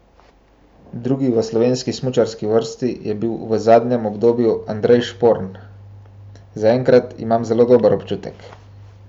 Drugi v slovenski smučarski vrsti je bil v zadnjem obdobju Andrej Šporn: "Zaenkrat imam zelo dober občutek.